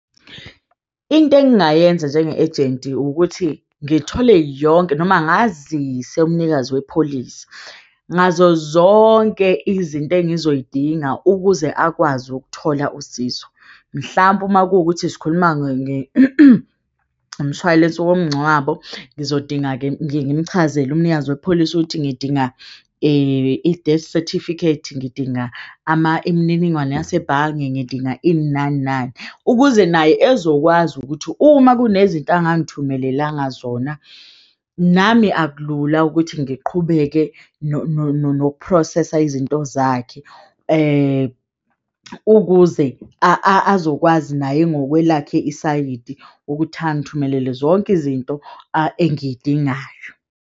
Into engingayenza njenge a gent ukuthi ngithole yonke noma ngazise umnikazi wepholisi ngazozonke izinto engizoyidinga ukuze akwazi ukuthola usizo mhlampe uma kuwukuthi sikhuluma ngoshwalense womngcwabo. Ngizodinga-ke, ngimchazele umnikazi wepholisi ukuthi ngidinga i-death certificate, ngidinga ama imininingwane yasebhange ngidinga ini nani nani ukuze naye ezokwazi ukuthi uma kunezinto angangithumelelanga zona, nami akulula ukuthi ngiqhubeke noku-process-a izinto zakhe ukuze azokwazi naye ngokwelakhe isayidi ukuthi angithumelele zonke izinto engiyidingayo.